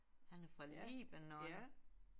Han er fra Libanon